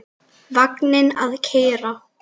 Vagninn að keyra.